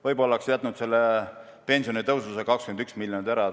Võib-olla oleks jätnud pensionitõusu, selle 21 miljoni kulutamise ära?